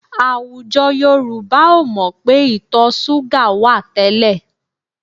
Àwùjọ Yorùbá ò mọ̀ pé ìtọ̀ súgà wà tẹ́lẹ̀